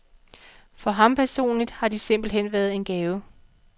For ham personligt har de simpelt hen været en gave.